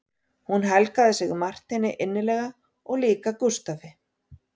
Hún helgaði sig Marteini innilega og líka Gústafi